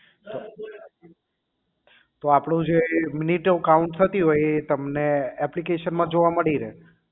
હમ તો આપણું જે છે તે મિનિટો count થતી હોય એ તમને application માં જોવા મળી રહે